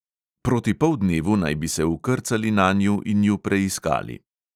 Proti poldnevu naj bi se vkrcali nanju in ju preiskali.